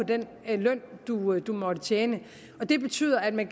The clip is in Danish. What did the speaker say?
den løn man måtte tjene og det betyder at man